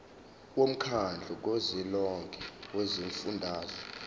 womkhandlu kazwelonke wezifundazwe